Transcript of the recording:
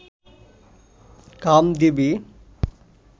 Kamdevi